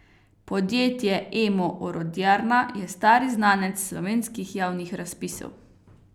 Podjetje Emo Orodjarna je stari znanec slovenskih javnih razpisov.